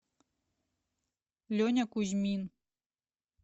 леня кузьмин